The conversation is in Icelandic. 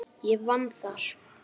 Ég vann þar.